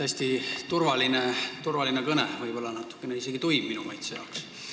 Iseenesest hästi turvaline kõne, võib-olla natukene isegi tuim minu maitse jaoks.